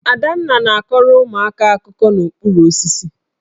Adanna na-akọrọ ụmụaka akụkọ n'okpuru osisi